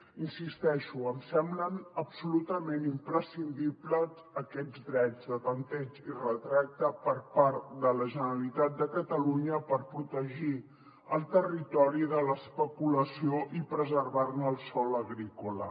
hi insisteixo em semblen absolutament imprescindibles aquests drets de tanteig i retracte per part de la generalitat de catalunya per protegir el territori de l’especulació i preservar ne el sòl agrícola